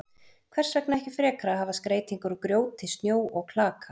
Hvers vegna ekki frekar að hafa skreytingar úr grjóti, snjó og klaka?